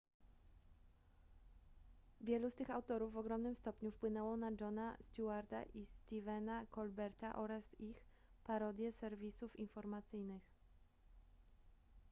wielu z tych autorów w ogromnym stopniu wpłynęło na jona stewarta i stephena colberta oraz ich parodie serwisów informacyjnych